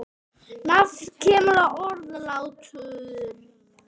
Nafnið kemur af orðinu látur.